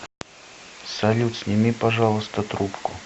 салют сними пожалуйста трубку